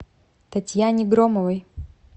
татьяне громовой